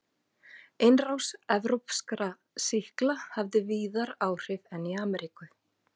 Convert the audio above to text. Innrás evrópskra sýkla hafði víðar áhrif en í Ameríku.